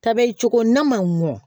Kabɛ cogo n'a ma mɔ